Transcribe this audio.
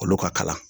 Olu ka kalan